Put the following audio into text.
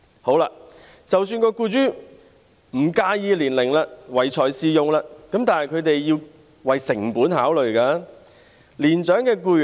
好了，即使僱主不介意年齡，唯才是用，但他們也得考慮成本。